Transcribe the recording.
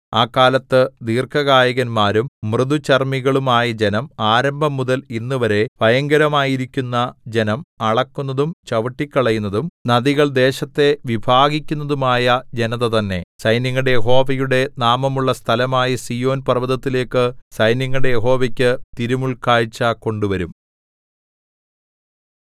ആ കാലത്ത് ദീർഘകായന്മാരും മൃദുചർമ്മികളും ആയ ജനം ആരംഭംമുതൽ ഇന്നുവരെ ഭയങ്കരമായിരിക്കുന്ന ജനം അളക്കുന്നതും ചവിട്ടിക്കളയുന്നതും നദികൾ ദേശത്തെ വിഭാഗിക്കുന്നതുമായ ജനത തന്നെ സൈന്യങ്ങളുടെ യഹോവയുടെ നാമമുള്ള സ്ഥലമായ സീയോൻ പർവ്വതത്തിലേക്കു സൈന്യങ്ങളുടെ യഹോവയ്ക്കു തിരുമുല്‍ക്കാഴ്ച കൊണ്ടുവരും